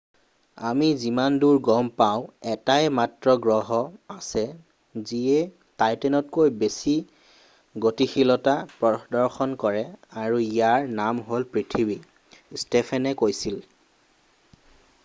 আমি যিমানদূৰ গম পাওঁ এটাই মাত্ৰ গ্ৰহ আছে যিয়ে টাইটানতকৈ বেছি গতিশীলতা প্ৰদৰ্শন কৰে আৰু ইয়াৰ নাম হ'ল পৃথিৱী ষ্টোফানে কৈছিল